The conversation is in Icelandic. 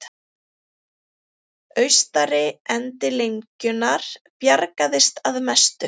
Austari endi lengjunnar bjargaðist að mestu